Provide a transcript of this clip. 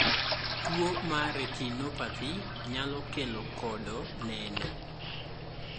tuo mar retinopathy nyalo kelo kodo neno